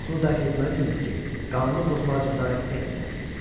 Qorxunu dərk etməlisiniz ki, qanunu pozmağa cəsarət etməyəsiniz.